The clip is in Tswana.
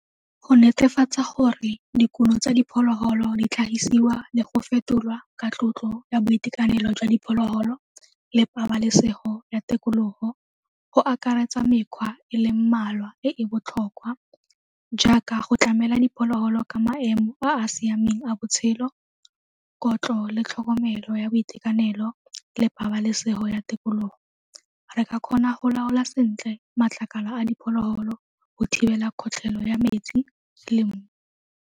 Go netefatsa gore dikumo tsa diphologolo di tlhagisiwa le go fetolwa ka tlotlo ya boitekanelo jwa diphologolo le pabalesego ya tikologo go akaretsa mekgwa e leng mmalwa e e botlhokwa jaaka go tlamela dipholoholo ka maemo a a siameng a botshelo, kotlo le tlhokomelo ya boitekanelo le pabalesego ya tikologo. Re ka kgona go laola sentle matlakala a diphologolo go thibela kgotlhelo ya metsi le mmu.